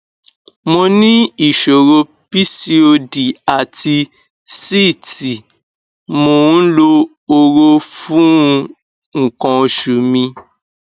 mo ní ìṣòro pcod àti síìtì mò ń lo hóró fún nǹkan oṣù mi